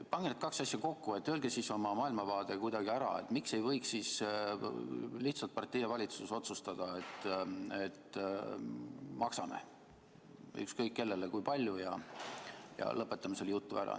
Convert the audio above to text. Pange need kaks asja kokku ja öelge siis oma maailmavaade kuidagi ära, et miks ei võiks lihtsalt partei ja valitsus otsustada, et maksame ükskõik kellele kui palju ja lõpetame selle jutu ära.